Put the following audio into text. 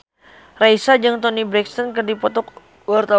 Raisa jeung Toni Brexton keur dipoto ku wartawan